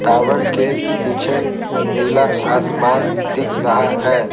Tower के पीछे नीला आसमान दिख रहा है।